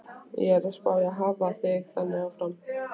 Ég er að spá í að hafa það þannig áfram.